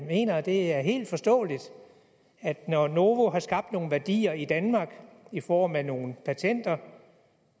mener at det er helt forståeligt at når novo nordisk har skabt nogle værdier i danmark i form af nogle patenter